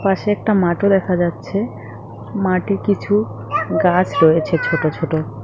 পাশে একটা মাঠও দেখা যাচ্ছে মাঠে কিছু গাছ রয়েছে ছোট ছোট।